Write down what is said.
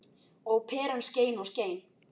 Og peran skein og skein.